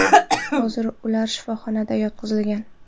Hozirda ular shifoxonaga yotqizilgan.